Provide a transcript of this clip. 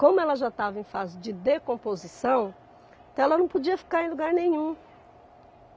Como ela já estava em fase de decomposição, então ela não podia ficar em lugar nenhum.